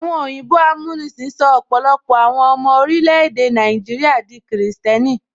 Àwọn òyìnbó amúnisìn sọ ọpọlọpọ àwọn ọmọ orílè-èdè Nàìjíríà di kìrìsìtẹ́nì